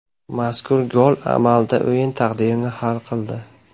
Mazkur gol amalda o‘yin taqdirini hal qildi.